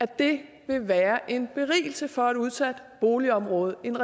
det vil være en berigelse for et udsat boligområde at en